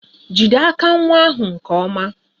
Jide aka nwa ahụ nke ọma!